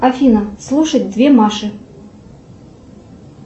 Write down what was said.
афина слушать две маши